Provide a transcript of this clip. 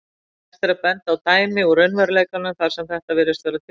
Hægt er að benda á dæmi úr raunveruleikanum þar sem þetta virðist tilfellið.